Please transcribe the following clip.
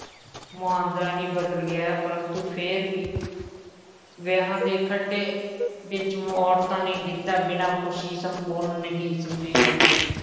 ਮੁਹਾਂਦਰਾ ਹੀ ਬਦਲ ਗਿਆ ਹੈ, ਪਰੰਤੂ ਫੇਰ ਵੀ ਵਿਆਹਾਂ ਦੇ ਖੱਟੇ ਵਿੱਚ ਔਰਤਾਂ ਨੇ ਗਿੱਧਾ ਬਿਨਾ ਖੁਸ਼ੀ ਸੰਪੂਰਨ ਨਹੀਂ ਸਮਝੀ ਜਾਂਦੀ,